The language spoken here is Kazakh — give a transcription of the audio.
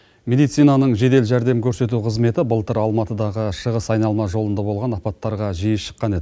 мединицаның жедел жәрдем көрсету қызметі былтыр алматыдағы шығыс айналма жолында болған апаттарға жиі шыққан еді